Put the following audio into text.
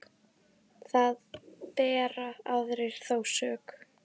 Þar bera aðrir þó sök.